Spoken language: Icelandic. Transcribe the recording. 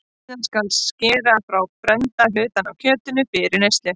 Síðan skal skera frá brennda hluta af kjötinu fyrir neyslu.